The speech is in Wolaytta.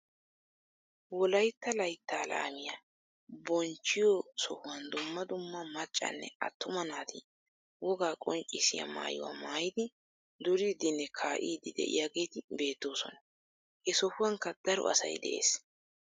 Wolaytta layttaa laamiyaa bonchchiyoo sohuwaan dumma dumma maccanne attuma naati wogaa qonccisiyaa maayuwaa maayidi duriidinne kaa'idi de'iyaageti beettoosona. he sohuwaankka daro asay de'ees.